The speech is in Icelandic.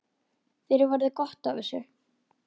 Þér verður gott af þessu